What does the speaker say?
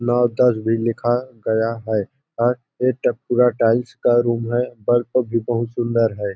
नौ दस भी लिखा गया है और ये टो पूरा टाइल्स का रूम है और सब भी बहुत सुन्दर है।